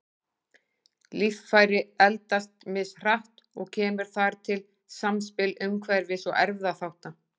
Líffæri eldast mishratt og kemur þar til samspil umhverfis- og erfðaþátta.